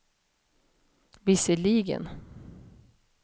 visserligen